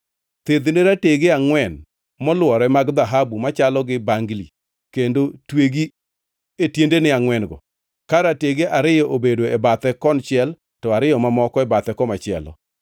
Thedhne ratege angʼwen molworore mag dhahabu machalo gi bangli kendo twegi e tiendene angʼwen-go, ka ratege ariyo bedo e bathe konchiel to ariyo mamoko e bathe komachielo.